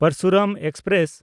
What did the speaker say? Parashuram express